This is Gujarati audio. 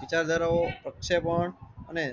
વિચારધારાઓ પ્રક્ષેપણ અને